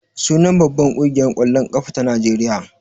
Sunan babbar ƙungiyar ƙwallon ƙafa ta Najeriya.